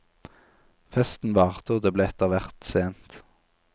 Festen varte og det ble etterhvert sent.